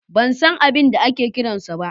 Ban san abin da ake kiran sa ba.